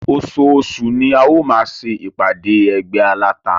Oṣooṣù ni a ó máa ṣe ìpàdé ẹgbẹ́ aláta.